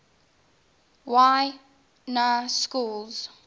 y na schools